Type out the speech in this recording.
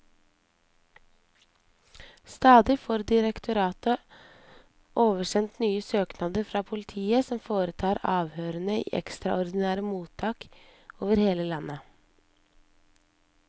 Stadig får direktoratet oversendt nye søknader fra politiet, som foretar avhørene i ekstraordinære mottak over hele landet.